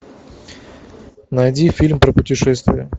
найди фильм про путешествия